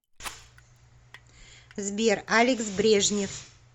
сбер алекс брежнев